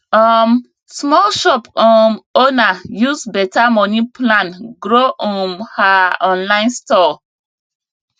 um small shop um owner use better money plan grow um her online store